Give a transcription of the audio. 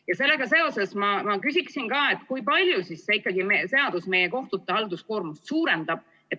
Ja sellega seoses ma küsiksin, kui palju siis ikkagi see seadus meie kohtute halduskoormust suurendab.